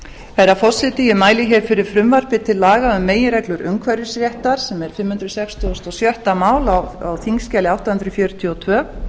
herra forseti ég mæli fyrir frumvarpi til laga um meginreglur umhverfisréttar sem er fimm hundruð sextugustu og sjötta mál á þingskjali átta hundruð fjörutíu og tvö